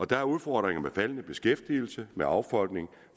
der er udfordringer med faldende beskæftigelse med affolkning